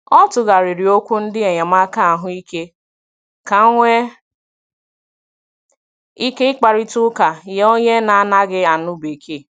Ọ tụgharịrị okwu ndị enyemaka ahụ ike ka nwee ike ị kparịta ụka nye onye na - anaghị anụ bekee.